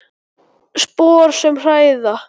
Spor sem hræða.